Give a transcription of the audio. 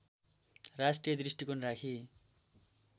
राष्ट्रिय दृष्टिकोण राखी